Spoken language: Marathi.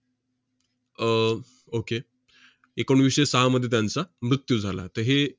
अह okay एकोणवीसशे सहामध्ये त्यांचा मृत्यू झाला. त~ हे